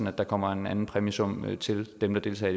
at der kommer en anden præmiesum til dem der deltager